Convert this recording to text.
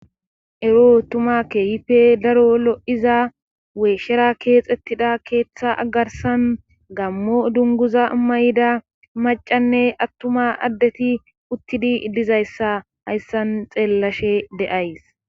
ero tumakkehife daro lo7iza weeshshera keexettida keeththa agarsan gammo dunguza ammayida macanne attuma addeti uttidi iddizayssa hayssan xeellashe de7ays